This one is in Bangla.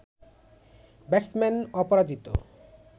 ব্যাটসম্যান অপরাজিত